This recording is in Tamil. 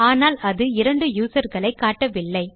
ஆனால் அது இரண்டு யூசர் களை காட்டவில்லை